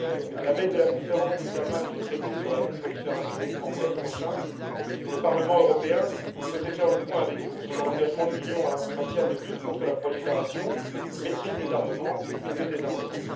À la veille de la conférence d'examen du traité sur la non prolifération en mai prochain, le Parlement européen souhaitait faire le point avec vous sur l'engagement de l'Union en matière de lutte contre la prolifération, de maîtrise des armements et de désarmement